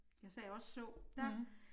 Jeg sagde også så der